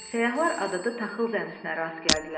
Səyahlar adada taxıl zəmisinə rast gəldilər.